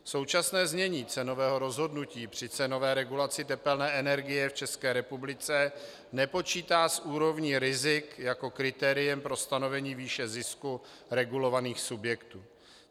Současné znění cenového rozhodnutí při cenové regulaci tepelné energie v České republice nepočítá s úrovní rizik jako kritériem pro stanovení výše zisku regulovaných subjektů.